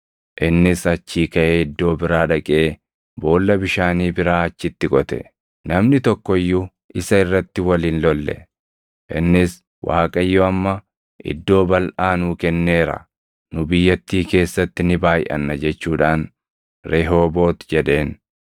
Innis achii kaʼee iddoo biraa dhaqee boolla bishaanii biraa achitti qote; namni tokko iyyuu isa irratti wal hin lolle. Innis, “ Waaqayyo amma iddoo balʼaa nuu kenneera; nu biyyattii keessatti ni baayʼanna” jechuudhaan Rehooboot jedheen.